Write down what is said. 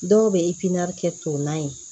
Dɔw bɛ kɛ to na ye